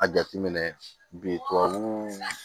A jateminɛ bi tubabu